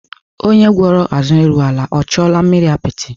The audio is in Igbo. Onye gwọrọ ázụ eru ala, o chuola mmiri apịtị?